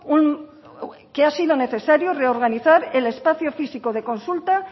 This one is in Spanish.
necesario reorganizar el espacio físico de consulta